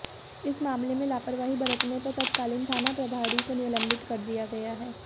इस मामले में लापरवाही बरतने पर तत्कालीन थाना प्रभारी को निलम्बित कर दिया गया है